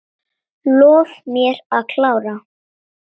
Lof mér að klára.